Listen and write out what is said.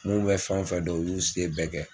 N'u bɛ fɛn o fɛn dɔn u y'u se bɛɛ kɛ.